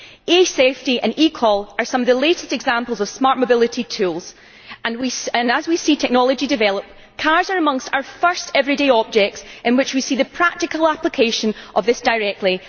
E Safety and eCall are some of the latest examples of smart mobility tools and, as we see technology develop, cars are amongst the first everyday objects in which we see the practical application of this directly.